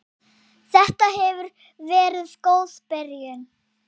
Þetta hefur verið góð byrjun.